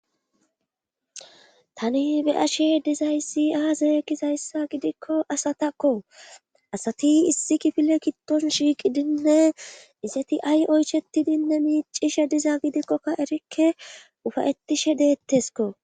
tani be ashe dizayssi aazee gizayssa gidikko asatakko asati issi kifile kitton shiiqidinne iseti ay oychetidinne miicishe diza gidikkokka erikke ufayettishe deettesko